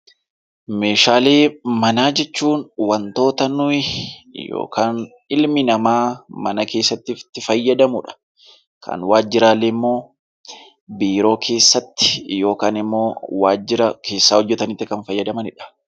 Meeshaalee manaa jechuun wantoota nuti yookaan ilmi namaa mana keessatti itti fayyadamudha. Kan waajjiraalee immoo biiroo keessatti yookaan immoo waajjira keessa hojjatanitti kan fayyadamanidha.